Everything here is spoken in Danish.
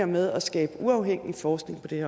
med at skabe uafhængig forskning på det